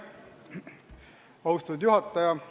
Austatud juhataja!